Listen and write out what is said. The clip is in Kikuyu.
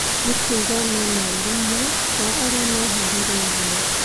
Nĩ kuuga mena ũrũmwe wa arĩa meharĩrĩirie.